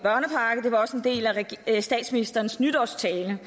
del af statsministerens nytårstale vi